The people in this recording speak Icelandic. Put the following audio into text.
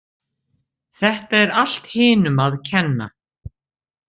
Þetta er allt hinum að kenna.